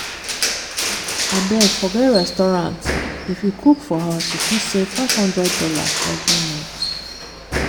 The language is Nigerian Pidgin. abeg forget restaurant! if you cook for house you fit save 500 dollars every month.